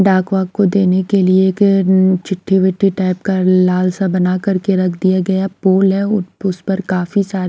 डाक वाक को देने के लिए एक उम चिट्ठी विट्ठी टाइप का लाल सा बना करके रख दिया गया पुल है उसपर काफी सारे--